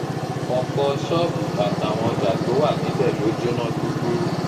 ọ̀pọ̀ ṣọ́ọ̀bù àtàwọn ọjà tó wà níbẹ̀ ló jóná gbúgbúrú